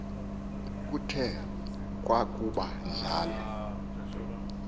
kuthe kwakuba njalo